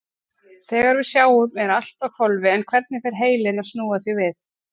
Þegar við sjáum er allt á hvolfi en hvernig fer heilinn að snúa því við?